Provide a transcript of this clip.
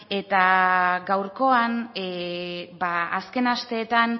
eta gaurkoan ba azken asteetan